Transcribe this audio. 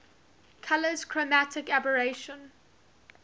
colours chromatic aberration